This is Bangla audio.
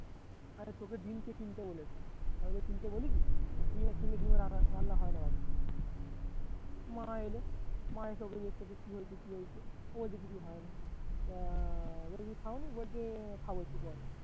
তোকে ডিম কে কিনতে বলেছে কিনতে ডিমের রান্না হয় না বাড়িতে মা এলে মা এসব এদিক সেদিক কি হয়েছে কি হয়েছে ও কিছু হয় না আহ বলছে খাওনি বলছে খাবো একটু পরে